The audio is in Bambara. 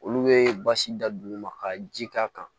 Olu bɛ basi da duguma ka ji k'a kan